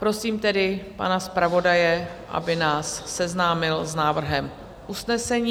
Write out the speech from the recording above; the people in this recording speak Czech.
Prosím tedy pana zpravodaje, aby nás seznámil s návrhem usnesení.